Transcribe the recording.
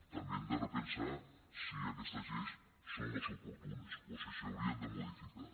també hem de repensar si aquestes lleis són les oportunes o si s’haurien de modificar